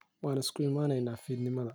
Waan iskuyimaneyna fidnimadhe.